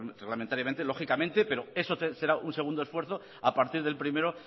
reglamentariamente lógicamente pero eso será un segundo esfuerzo a partir del primero